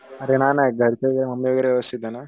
अरे नाय नाय घरचे तुझे मम्मी वगैरे व्यवस्थिते ना.